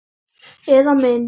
Eða mynd.